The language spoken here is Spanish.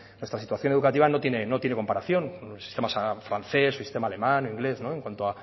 nuestra situación educativa no tiene comparación con el sistema francés o el sistema alemán o el inglés en cuanto